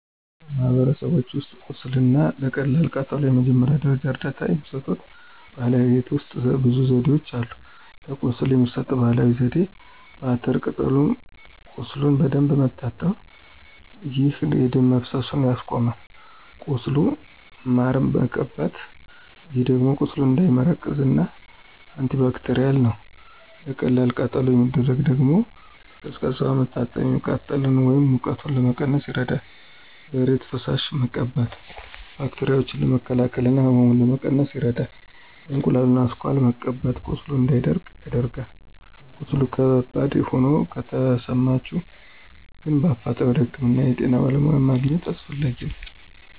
በማህበረሰቦች ውስጥ ቁስል እና ለቀላል ቃጠሎ የመጀመሪያ ደረጃ እርዳታ የሚሰጡ ባህላዊ የቤት ውሰጥ ብዙ ዘዴዎች አሉ። ለቁስል የሚሰጠው ባህላዊ ዜዴ፦ በአተር ቅጠል ቁሱሉን በደንብ መታጠብ፣ ይህ የደም መፈሰሱን ያስቆማል። ቁስሉን ማር መቀባት ይህ ደግሞ ቁስሉ እንዳይመረቅዝ እና አንቲባክቴርል ነው። ለቀላል ቃጠሎ የሚደረገው ደግሞ፦ በቀዝቃዛ ውሃ መታጠብ፤ የሚቃጥለን ወይም ሙቀቱን ለመቀነስ ይረዳል። በእሬት ፈሳሽ መቀባት ባክቴራዎችን ለመከላከል እና ህመሙን ለመቀነስ ይረዳል። የእንቁላሉ አስኳል መቀባት ቁስሉ እንዳይደርቅ ያደርጋል። ቀስሉ ከባድ ሆኖ ከተሰማቸሁ ግን በአፋጣኝ ወደ ህክምና የጤና በለሙያ ማግኝት አሰፈላጊ ነው።